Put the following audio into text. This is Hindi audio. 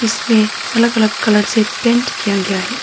इसमें अलग अलग कलर से पेंट किया गया है।